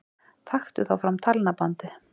Taktu þá fram talnabandið.